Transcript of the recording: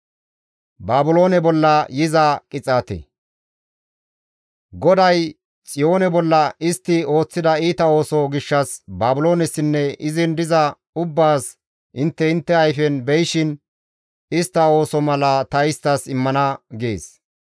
GODAY, «Xiyoone bolla istti ooththida iita ooso gishshas Baabiloonesinne izin diza ubbaas intte intte ayfen be7ishin istta ooso mala ta isttas immana» gees.